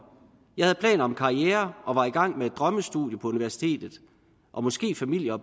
jeg havde planer om en karriere og var i gang med et drømmestudie på universitetet og måske familie og